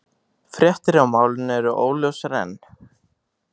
Fréttir af málinu eru óljósar enn